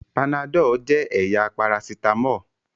Panadol jẹ́ ẹ̀yà parasítámọ̀.